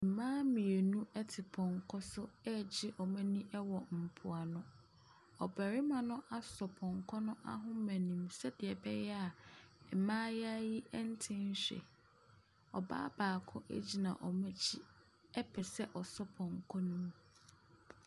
Mmaa mmienu ɛte pɔnkɔ so ɛregye wɔn ani ɛwɔ mpoano. Ɔbarimba no asɔ pɔnkɔ no ahoma no mu sɛdeɛ ɛbɛyɛ a mmaa no nte nhwe. Ɔbaa baako agyina wɔn akyi ɛpɛ sɛ ɔsɔ pɔnkɔ no mu.